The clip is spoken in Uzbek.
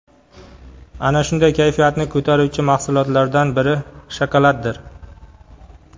Ana shunday kayfiyatni ko‘taruvchi mahsulotlardan biri shokoladdir.